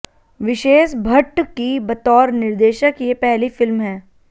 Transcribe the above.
wishes Bhatt की बतौर निर्देशक ये पहली फिल्म है